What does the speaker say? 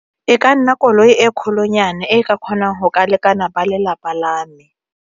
E ka nna koloi e kgolo nyana e ka kgonang go ka lekana ba lelapa la me.